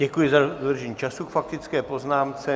Děkuji za dodržení času k faktické poznámce.